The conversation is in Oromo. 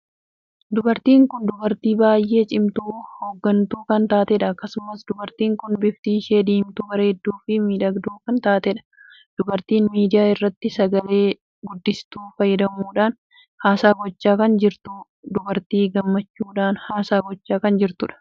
Dubartiin kun dubartii baay'ee cimtuu hongantuu kan taateedha. akkasumas dubartiin kun bifti ishee diimtuu bareedduu fi miidhagduu kan taateedha. dubartiin miidiyaa irratti sagalee guddistuu fayyadamuudha haasaa gochaa kan jirtuudha. dubartii gammachuudhaan haasaa gochaa kan jirtuudha.